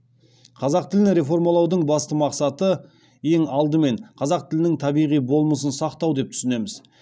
қазақ тілін реформалаудың басты мақсаты ең алдымен қазақ тілінің табиғи болмысын сақтау деп түсінеміз